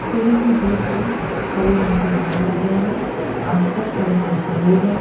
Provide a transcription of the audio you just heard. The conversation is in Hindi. थोड़ी ही दूर पे हरे रंग के बोर लगे है आस पास हरे भरे पेड़ है।